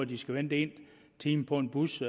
de skal vente en time på en bus